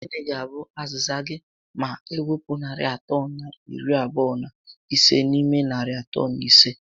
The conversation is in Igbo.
Gịnị ga abụ aziza gị ma ewpu narị atọ na iri abụọ na ise n'ime narị atọ na ise?